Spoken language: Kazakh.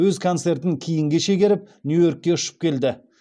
өз концертін кейінге шегеріп нью йоркке ұшып келді